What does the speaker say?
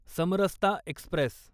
Samarsata Express